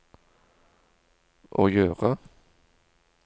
å gjøre